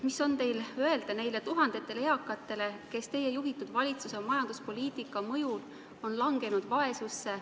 Mis on teil öelda nendele tuhandetele eakatele, kes teie juhitud valitsuse majanduspoliitika mõjul on vaesusse langenud?